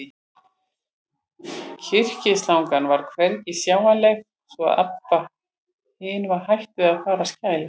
Kyrkislangan var hvergi sjáanleg, svo að Abba hin var hætt við að fara að skæla.